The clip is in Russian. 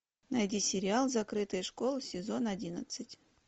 найди сериал закрытая школа сезон одиннадцать